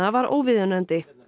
var óviðunandi